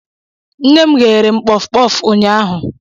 Nne m gheere m kpofkpof ụnyahụ.